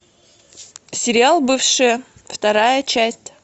сериал бывшие вторая часть